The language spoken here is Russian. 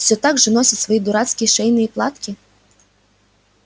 все так же носит свои дурацкие шейные платки